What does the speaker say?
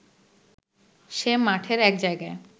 সে মাঠের এক জায়গায়